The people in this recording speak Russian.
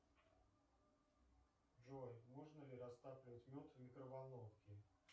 джой можно ли растапливать мед в микроволновке